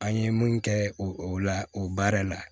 An ye mun kɛ o la o baara la